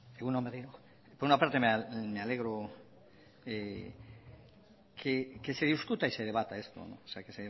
egun on berriro por una parte me alegro que se discuta y se debata